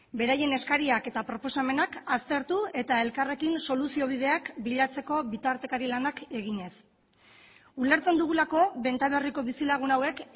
beraien eskariak eta proposamenak aztertu eta elkarrekin soluzio bideak bilatzeko bitartekari lanak eginez ulertzen dugulako benta berriko bizilagun hauek